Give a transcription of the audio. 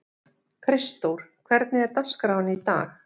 Kristdór, hvernig er dagskráin í dag?